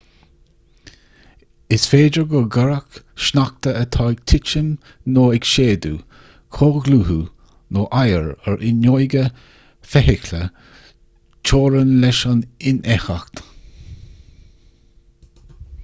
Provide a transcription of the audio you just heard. is féidir go gcuirfeadh sneachta atá ag titim nó ag séideadh comhdhlúthú nó oighear ar fhuinneoga feithicle teorainn leis an infheictheacht